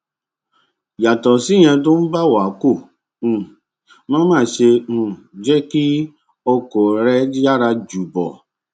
yàtò síyẹn tó o bá ń wakò um má má ṣe um jé kí ọkò rẹ yára ju bó